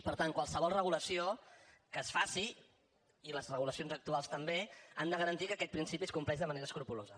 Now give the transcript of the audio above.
per tant qualsevol regulació que es faci i les regulacions actuals també han de garantir que aquest principi es compleix de manera escrupolosa